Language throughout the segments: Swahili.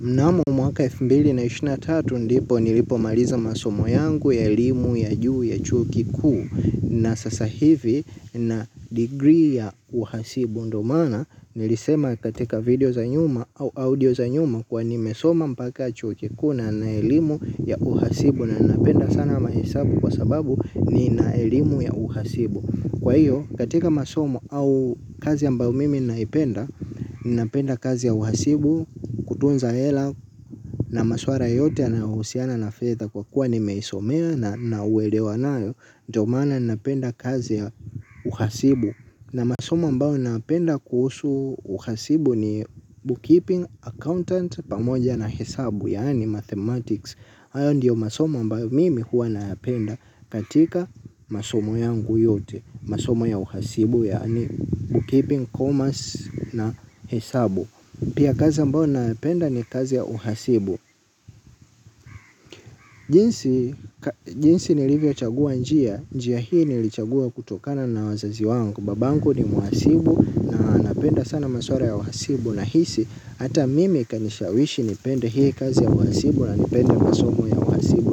Mnamo mwaka elfu mbili na ishirini na tatu ndipo nilipomaliza masomo yangu ya elimu ya juu ya chuo kikuu na sasa hivi nina degree ya uhasibu ndo maana nilisema katika video za nyuma au audio za nyuma kuwa nimesoma mpaka chuo kikuu na nina elimu ya uhasibu na napenda sana mahesabu kwa sababu nina elimu ya uhasibu. Kwa hiyo, katika masomo au kazi ambayo mimi naipenda, ninapenda kazi ya uhasibu, kutunza hela na maswara yote yanayohusiana na fedha kwa kuwa nimeisomea na nina uelewa nayo ndio maana ninapenda kazi ya uhasibu, na masomo ambayo ninapenda kuhusu uhasibu ni bookkeeping accountant pamoja na hesabu, yaani mathematics. Hayo ndiyo masomo ambayo mimi huwa nayapenda katika masomo yangu yote. Masomo ya uhasibu yaani book keeping commerce na hesabu. Pia kazi ambayo nayapenda ni kazi ya uhasibu. Jinsi nilivyochagua njia. Njia hii nilichagua kutokana na wazazi wangu. Babangu ni mhasibu na anapenda sana masuala ya uhasibu. Nahisi hata mimi kanishawishi nipende hii kazi ya uhasibu na nipende masomo ya uhasibu.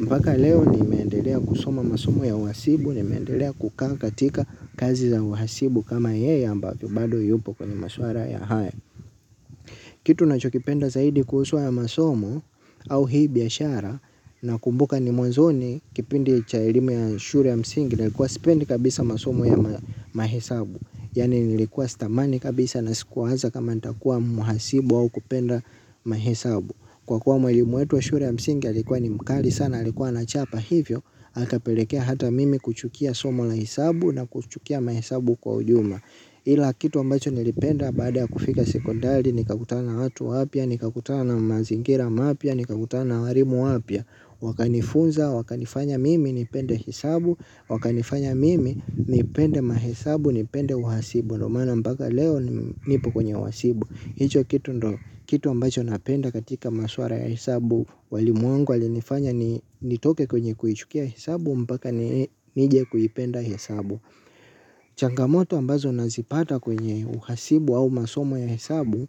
Mbaka leo nimeendelea kusoma masomo ya uhasibu nimeendelea kukaa katika kazi za uhasibu kama yeye ambavyo bado yupo kwenye maswara ya haya. Kitu nachokipenda zaidi kuhusu haya masomo au hii biashara nakumbuka ni mwanzoni kipindi cha elimu ya shure ya msingi na nilikuwa sipendi kabisa masomo ya mahesabu. Yaani nilikuwa sitamani kabisa na sikuwaza kama ntakuwa mhasibu au kupenda mahesabu. Kwa kuwa mwalimu wetu wa shure ya msingi alikuwa ni mkali sana alikuwa anachapa hivyo. Akapelekea hata mimi kuchukia somo la hisabu na kuchukia mahesabu kwa ujumla ila kitu ambacho nilipenda baada ya kufika sekondari. Nikakutana na watu wapya, nikakutana na mazingira mapya, nikakutana na warimu wapya. Wakanifunza, wakanifanya mimi, nipende hisabu. Wakanifanya mimi, nipende mahisabu, nipende uhasibu. Ndo maana mpaka leo nipo kwenye uhasibu. Hicho kitu ambacho napenda katika maswara ya hesabu. Walimu wangu walinifanya nitoke kwenye kuichukia hesabu mpaka nije kuipenda hesabu. Changamoto ambazo nazipata kwenye uhasibu au masomo ya hesabu.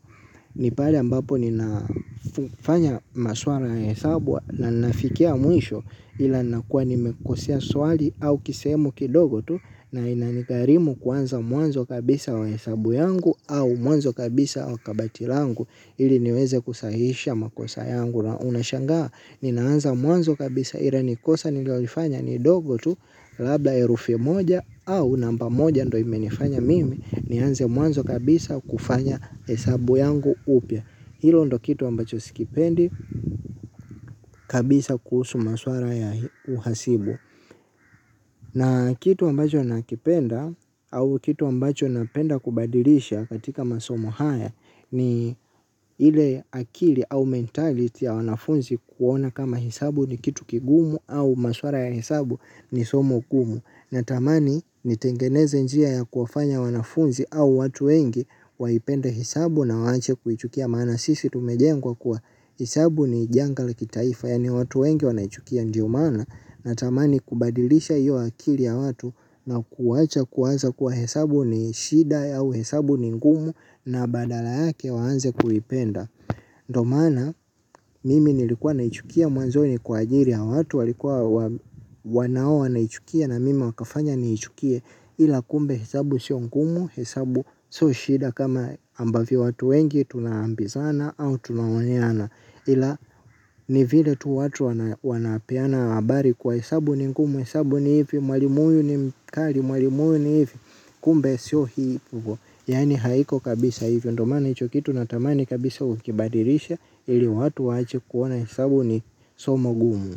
Ni pale ambapo ninafanya maswara ya hesabu na nafikia mwisho. Ila nakuwa nimekosea swali au kisegemu kidogo tu na inanigharimu kuanza mwanzo kabisa wa hesabu yangu au mwanzo kabisa wa kabati langu ili niweze kusahihisha makosa yangu na unashangaa. Ninaanza mwanzo kabisa ira ni kosa nililoifanya ni dogo tu. Labla erufi moja au namba moja ndo imenifanya mimi. Nianze mwanzo kabisa kufanya hesabu yangu upya. Hilo ndo kitu ambacho sikipendi kabisa kuhusu maswara ya uhasibu na kitu ambacho nakipenda au kitu ambacho napenda kubadilisha katika masomo haya ni ile akili au mentality ya wanafunzi kuona kama hisabu ni kitu kigumu au maswara ya hisabu ni somo gumu natamani nitengeneze njia ya kufanya wanafunzi au watu wengi waipende hisabu na waache kuichukia maana sisi tumejengwa kuwa hisabu ni janga la kitaifa yaani watu wengi wanaichukia ndio maana natamani kubadilisha hiyo akili ya watu na kuwacha kuwaza kuwa hesabu ni shida au hesabu ni ngumu na badala yake waanze kuipenda. Ndo maana mimi nilikuwa naichukia mwanzo ni kwa ajiri ya watu walikuwa wanao wanaichukia na mimi wakafanya niichukie ila kumbe hesabu sio ngumu hesabu so shida kama ambavyo watu wengi tunaambizana au tunaoneana ila ni vile tu watu wanapeana habari kuwa hesabu ni ngumu hesabu ni hivi mwalimu huyu ni mkari mwalimu huyu ni hivi kumbe sio hivi yaani haiko kabisa hivi ndo maana hicho kitu natamani kabisa ukibadirishe ili watu waache kuona hesabu ni somo gumu.